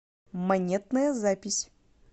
монетная запись